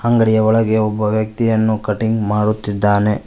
ಅಂಗಡಿಯ ಒಳಗೆ ಒಬ್ಬ ವ್ಯಕ್ತಿಯನ್ನು ಕಟಿಂಗ್ ಮಾಡುತ್ತಿದ್ದಾನೆ.